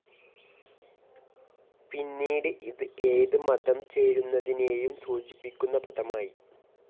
പിന്നീട് ഇത് ഏത് മതം ചേരുന്നതിനേയും സൂചിപ്പിക്കുന്ന പദമായി.